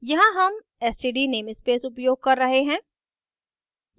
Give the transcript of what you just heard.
यहाँ हम std namespace उपयोग कर रहे हैं